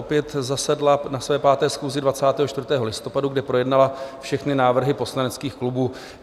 Opět zasedla na své 5. schůzi 24. listopadu, kde projednala všechny návrhy poslaneckých klubů.